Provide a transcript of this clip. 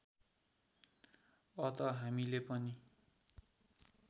अत हामीले पनि